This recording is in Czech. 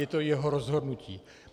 Je to jeho rozhodnutí.